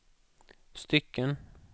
stycken